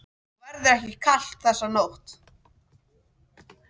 Og verður ekki kalt þessa nótt.